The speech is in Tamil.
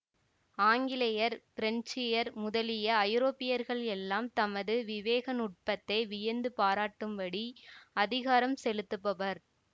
ஆங்கிலேயர் பிரன்ஸியர் முதலிய ஐரோப்பியர்களெல்லாம் தமது விவேக நுட்பத்தை வியந்து பாராட்டும்படி அதிகாரம் செலுத்துபவர்